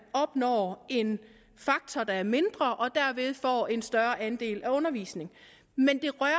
opnår en faktor der er mindre og derved får en større andel af undervisning men det rører